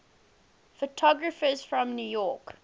photographers from new york